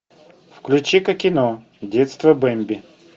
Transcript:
включи ка кино детство бэмби